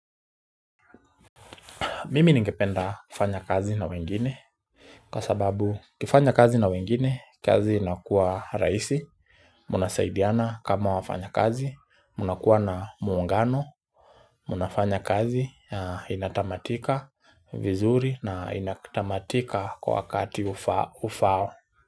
Mimi ningependa kufanya kazi na wengine, kwa sababu ukifanya kazi na wengine, kazi inakuwa rahisi, mnasaidiana kama wafanya kazi, mnakuwa na muungano, mnafanya kazi na inatamatika vizuri na inatamatika kwa wakati ufaao.